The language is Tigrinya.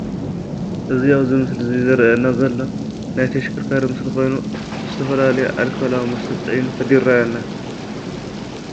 እዚ ኣብዚ ምስሊ ዝረኣየና ዘሎ ናይ ተሽከርካሪ ምስሊ ኮይኑ ዝተፈላለዩ ኣልኮላዊ መስተ ፅዒኑ ይረኣየና።